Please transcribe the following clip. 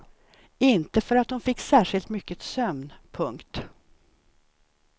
Inte för att hon fick särskilt mycket sömn. punkt